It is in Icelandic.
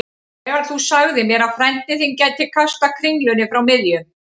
Þegar þú sagðir mér að frændi þinn gæti kastað kringlunni frá miðjum